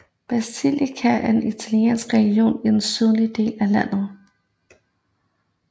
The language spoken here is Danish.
Basilicata er en italiensk region i den sydlige del af landet